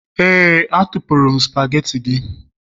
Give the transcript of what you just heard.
Éè, atụpụrụ m spagetii gị